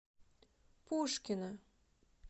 пушкино